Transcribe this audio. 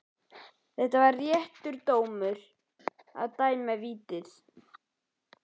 Var þetta réttur dómur að dæma vítið?